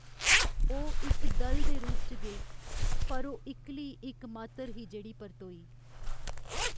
ओह् इक दल दे रूप च गे पर ओह् इक्कली इक मात्तर ही जेह्ड़ी परतोई।